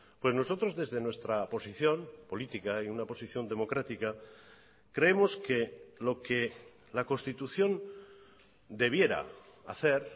pues nosotros desde nuestra posición política y una posición democrática creemos que lo que la constitución debiera hacer